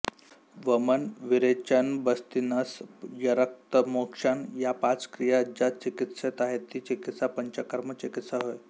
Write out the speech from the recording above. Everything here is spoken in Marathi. वमन विरेचनबस्तीनस्यरक्तमोक्षण या पाच क्रिया ज्या चिकित्सेत आहेत ती चिकित्सा पंचकर्म चिकित्सा होय